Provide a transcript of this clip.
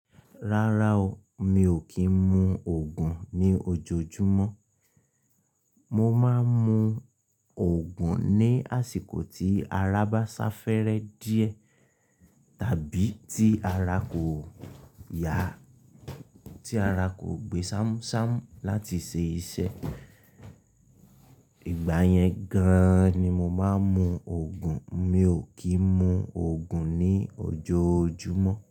Rárá o, mi ò kí ń mu òògùn ní ojoojúmọ́. Mo máa ń mu òògùn ní àsìkò tí ara bá sá fẹ́rẹ́ díẹ̀ tàbí tí ara kò yá, tí ara kò gbé ṣámṣám láti ṣe iṣẹ́. Ìgbà yẹn gan ni mo máa ń mu òògùn, mi ò kí ń mu òògùn ní ojoojúmọ́